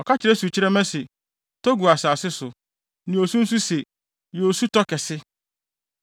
Ɔka kyerɛ sukyerɛmma se, ‘Tɔ gu asase so,’ ne osu nso se, ‘Yɛ osutɔ kɛse.’